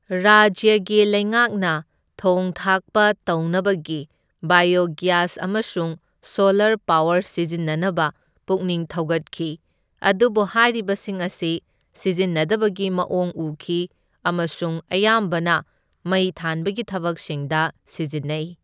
ꯔꯥꯖ꯭ꯌꯒꯤ ꯂꯩꯉꯥꯛꯅ ꯊꯣꯡ ꯊꯥꯛꯄ ꯇꯧꯅꯕꯒꯤ ꯕꯥꯏꯌꯣꯒ꯭ꯌꯥꯁ ꯑꯃꯁꯨꯡ ꯁꯣꯂꯔ ꯄꯥꯋꯔ ꯁꯤꯖꯤꯟꯅꯅꯕ ꯄꯨꯛꯅꯤꯡ ꯊꯧꯒꯠꯈꯤ, ꯑꯗꯨꯕꯨ ꯍꯥꯏꯔꯤꯕꯁꯤꯡ ꯑꯁꯤ ꯁꯤꯖꯤꯟꯅꯗꯕꯒꯤ ꯃꯑꯣꯡ ꯎꯈꯤ ꯑꯃꯁꯨꯡ ꯑꯌꯥꯝꯕꯅ ꯃꯩ ꯊꯥꯟꯕꯒꯤ ꯊꯕꯛꯁꯤꯡꯗ ꯁꯤꯖꯤꯟꯅꯩ꯫